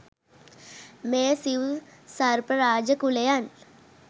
මේ සිව් සර්ප රාජ කුලයන්